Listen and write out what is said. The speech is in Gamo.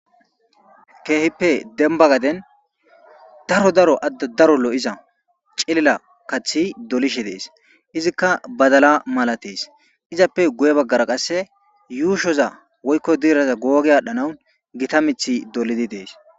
keehippe demba gaden daro daro adde daro lo7iza cilila kathi dolishe dees izikka badala mala tees izappe guye baggara qasse yuushoza woykko diiraza googe aadhdhanau gita mithi dolidi dees